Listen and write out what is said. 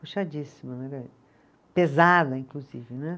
Puxadíssima né, pesada, inclusive, né